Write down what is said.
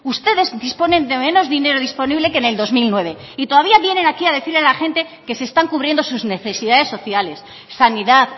ustedes disponen de menos dinero disponible que en el dos mil nueve y todavía vienen aquí a decirle a la gente que se están cubriendo sus necesidades sociales sanidad